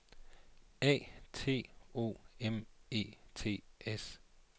A T O M E T S